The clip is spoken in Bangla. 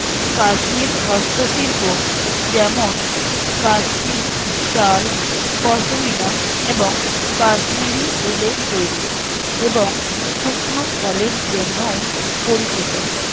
কাশ্মীর হস্তশিল্প যেমন কাশ্মীর শাল পশমিনা এবং কাশ্মীরি উলের তৈরী এবং শুকনো ফলের জন্যও পরিচিত